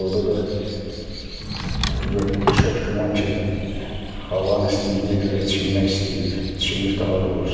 Orada da çox güman ki, havanın istiliyinə görə çimmək istəyib, çimib daha doğrusu.